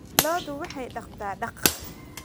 Lo'du waxay daaqdaa daaq.